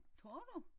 Tror du?